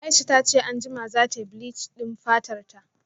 Aisha tace anjima zatayi bleach din fatarta